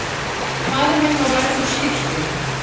Faðir minn var lærður skipstjóri.